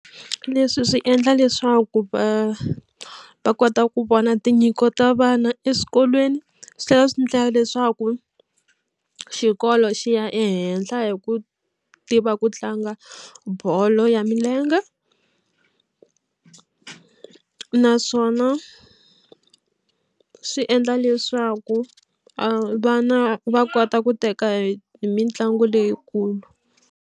Leswi swi endla leswaku va va kota ku vona tinyiko ta vana eswikolweni swi tlhela swi endla leswaku xikolo xi ya ehenhla hi ku tiva ku tlanga bolo ya milenge naswona swi endla leswaku vana va kota ku teka hi mitlangu leyikulu.